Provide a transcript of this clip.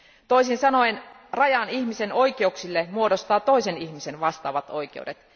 Toisin sanoen rajan ihmisen oikeuksille muodostavat toisen ihmisen vastaavat oikeudet.